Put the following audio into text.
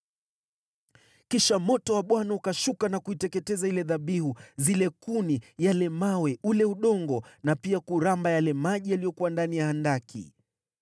Kisha moto wa Bwana ukashuka na kuiteketeza ile dhabihu, zile kuni, yale mawe, ule udongo, na pia kuramba yale maji yaliyokuwa ndani ya handaki.